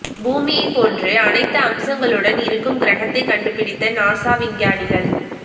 பூமியை போன்று அனைத்து அம்சங்களுடன் இருக்கும் கிரகத்தை கண்டுப்பிடித்த நாசா விஞ்ஞானிகள்